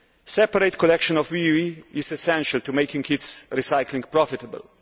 Separate collection of WEEE is essential to making recycling profitable.